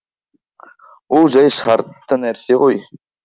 ол жәй шартты нәрсе ғой